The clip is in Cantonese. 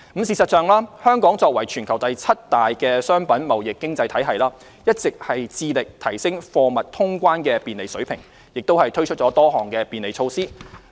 事實上，香港作為全球第七大的商品貿易經濟體系，一直致力提升貨物通關的便利水平，也推出多項便利措施。